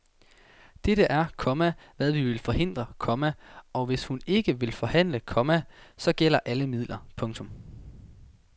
Dette er, komma hvad vi vil forhindre, komma og hvis hun ikke vil forhandle, komma så gælder alle midler. punktum